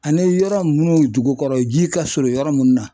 Ani yɔrɔ mun dugukɔrɔ ji ka surun yɔrɔ mun na